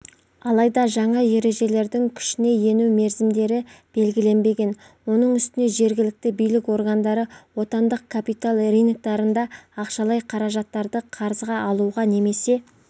алайда жаңа ережелердің күшіне ену мерзімдері белгіленбеген оның үстіне жергілікті билік органдары отандық капитал рыноктарында ақшалай қаражаттарды қарызға алуға немесе